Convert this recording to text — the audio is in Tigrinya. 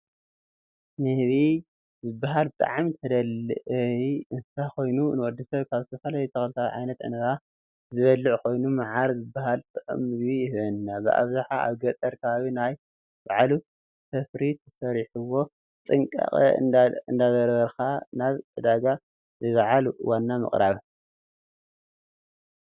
ንህቢ ዝበሃል ብጣዓሚ ተደለየ እንስሳ ኸይኑ ንወደሰብ ካብ ዝተፈላለዩ ተኸሊታት ዓይነት ዕንበባታት ዝበልዕ ኾይኑ ማዓር ዝበሃል ጥዑም ምግቢ ይህበና። ብኣብዛሓ ኣብ ገጠር ከባቢ ናይ በዓሉ ሰፍሪ ተሰርሑዎ ብጥንቃቂ እዳበርበርካ ናብ ዕዳጋ ብብዓል ዋና ምቅራብ።